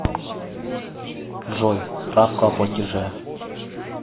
джой справку о платиже